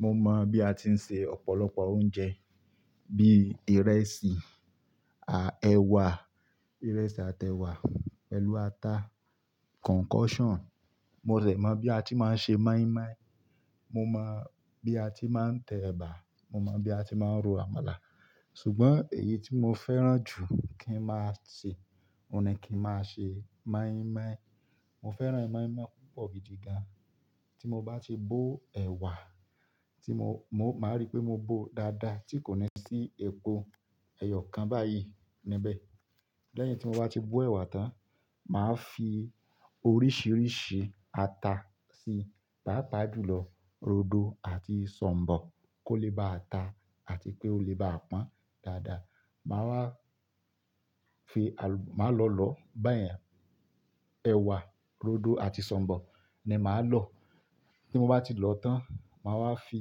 Mo mọ bí a ti ń se ọ̀pọ̀lọpọ̀ oúnjẹ bí ìrẹsì, à- ẹ̀wà, ìrẹsì àti ẹ̀wà, pelu ata, concussion. Mo ṣẹ̀ mọ bí a ti máa ń ṣe moi moi, mo mọ bí a ti máa ń tẹ ẹ̀bà, mo mọ bí a ti máa ń ro àmàlà. Ṣùgbọ́n èyí tí mo fẹ́ràn jù kí n máa ṣe, òun ni kí n máa ṣe moi moi. Mo fẹ́ràn moi moi púpọ̀ gidi gan. Tí mo bá ti bó ẹ̀wà, tí mo, mo máa rí pé mo bó dáadáa tí kò ní sí epo ẹyọ kan báyìí níbẹ̀. Lẹ́yìn tí mo bá ti bó ẹ̀wà tán, màá fi oríṣìíríṣìí ata sí, pa pa ju lọ, rodo àti sọ̀m̀bọ̀ kó lè ba ata àti pé ó lè ba pọ́n dáadáa. Màá wá fi à-- màá lọ lọ báyẹn. Ẹ̀wà, rodo àti sọ̀m̀bọ̀ ni màá lọ. Tí mo bá ti lọ tán, màá wá fi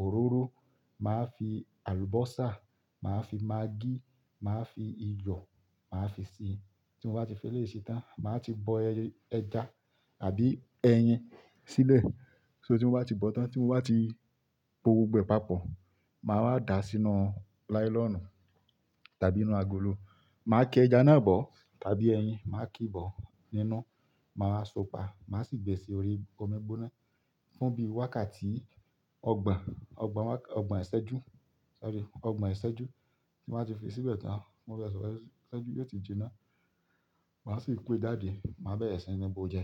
òróró, màá fi àlùbọ́sà, màá fi maggi, màá fi iyọ̀, màá fi ṣe é. Tí mo bá ti fi lé ṣe tán, màá ti bọ ẹja àbí ẹyin sílẹ̀. So tí mo bá ti bọ tán, tí mo bá ti po gbogbo ẹ̀pà pọ̀, màá wá dàá sínú láílọonù tàbí inú agolo. Màá ke ẹja náà bọ̀ tàbí ẹyin, màá kíi bọ́ nínú, màá so pá, màá sì gbẹ sí orí omi gbóná fún bí i wákàtí ọgbọ̀n, ọgbọ̀n wákàt-- ọgbọ̀n ìṣẹ́jú. Sorry, ọgbọ̀n ìṣẹ́jú. Tí mo bá ti fi síbẹ̀ tán, mo bá sọ̀ró ìṣẹ́jú mẹ́ta ìjinnà, màá sì ko jade, màá bẹ̀re sì nibó o jẹ.